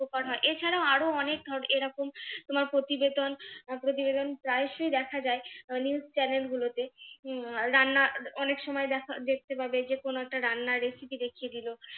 উপকার হয় এছাড়াও আরো অনেক এরকম তোমার প্রতিবেদন প্রতিবেদন প্রায়শই দেখা যায় আহ news channel উম গুলোতে রান্না অনেক সময় দেখা দেখতে পাবে যে কোনো একটা রান্নার recipe দেখিয়ে দিলো,